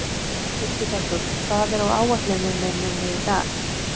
Hildibergur, hvað er á áætluninni minni í dag?